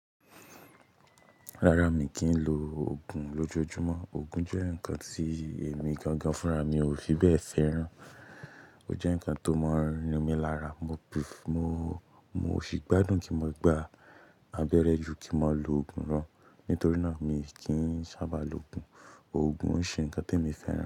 Rárá, mi kì í lo Ògùn lójojúmọ́. Ògùn jẹ́ ǹkan tí èmi gangan fúnra mi ò fi bẹ́ẹ̀ fẹ́ràn. Ó jẹ́ ǹkan tó mọ́n rin mi lára. Mo, mo, mo sì gbádùn kí mo gba abẹ́rẹ́ ju kí mọ ló Ògùn rán. Nítorí náà, mi kì í sábà lo Ògùn. Ògùn n ṣe ǹkan tí èmi fẹ́ rántí.